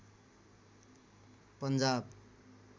Punjab